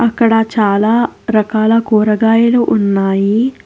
ఇక్కడ చాలా రకాల కూరగాయలు ఉన్నాయి.